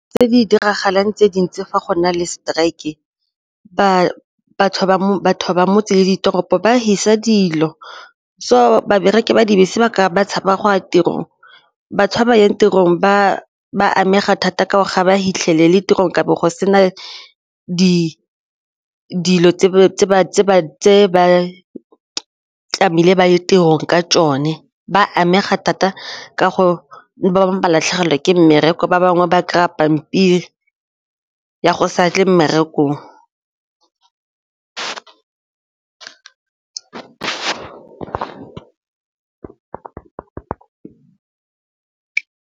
Tse di diragalang tse dintsi fa go na le strike batho ba motse le ditoropo ba fisa dilo so babereki ba dibese ba tshaba go ya tirong, ba tshaba ya tirong ba amega thata ka gore ga ba fitlhelele tirong kabo go sena di dilo tse ba tlamehile ba ye tirong ka tsone, ba amega thata ka go ba bangwe ba latlhegelwa ke mmereko ba gore ba bangwe ba kry-a pampiri ya go sa tle mmerekong.